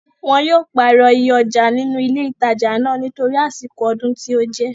Wọn yóò pàrọ̀ iye ọjà nínú ilé ìtajà náà nítorí àsìkò ọdún tí ó jẹ́